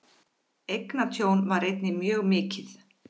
Eignatjón var einnig mjög mikið.